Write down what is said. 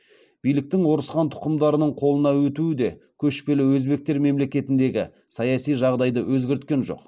биліктің орыс хан тұқымдарының қолына өтуі де көшпелі өзбектер мемлекетіндегі саяси жағдайды өзгерткен жоқ